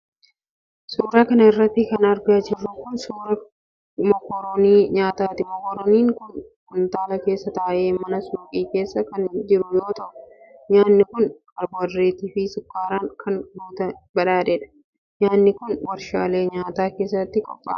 Suura kana irratti kan argaa jirru kun, suura mokoronii nyaataati. Mokoroniin kun kuntaala keessa ta'e mana suuqii keessa kan jiru yoo ta'u, nyaanni kun kaarboohaydireetii fi sukkaaraan kan badhaadheedha. Nyaanni kun warshaalee nyaataa keessatti qopha'a.